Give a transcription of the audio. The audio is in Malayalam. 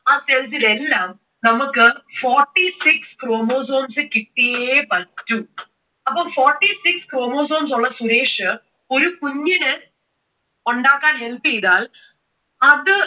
ആ cells ൽ എല്ലാം നമുക്കു forty six chromosomes കിട്ടിയേ പറ്റൂ. അപ്പോ forty six chromosomes ഉള്ള സുരേഷ് ഒരു കുഞ്ഞിനെ ഉണ്ടാക്കാൻ help ചെയ്താൽ, അത്